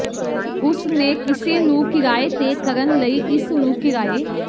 ਉਸ ਨੇ ਕਿਸੇ ਨੂੰ ਕਿਰਾਏ ਤੇ ਕਰਨ ਲਈ ਇਸ ਨੂੰ ਕਿਰਾਏ